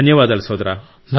ధన్యవాదాలు సోదరా